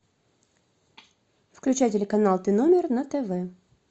включай телеканал т номер на тв